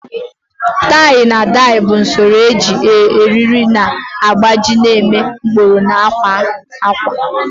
Tai na dai bụ usoro iji eriri na agbaji na-eme ụkpụrụ na akwa ákwà.